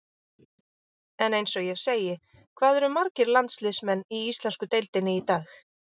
En eins og ég segi, hvað eru margir landsliðsmenn í íslensku deildinni í dag?